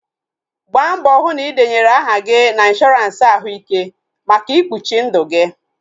Gbaa mbọ hụ na ị denyere aha gị na ịnshọransị ahụ ike maka ikpuchi ndụ gi